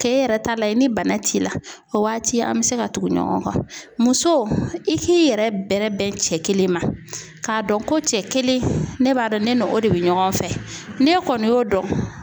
Kɛ e yɛrɛ ta layɛ ni bana t'i la, o waati an bɛ se ka tugu ɲɔgɔn kɔ. Musow i k'i yɛrɛ bɛrɛ bɛn cɛ kelen ma, k'a dɔn ko cɛ kelen ne b'a dɔn ne n'o de bɛ ɲɔgɔn fɛ, n'e kɔni y'o dɔn